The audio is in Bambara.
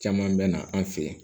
Caman bɛ na an fɛ yen